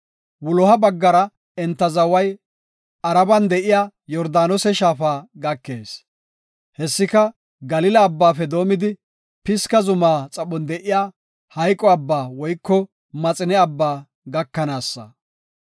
Wuloha baggara, enta zaway Araban de7iya Yordaanose shaafa gakees; hessika Galila Abbaafe doomidi Pisga zuma xaphon de7iya Maxine Abbaa (Hayqo Abbaa) gakanaasa.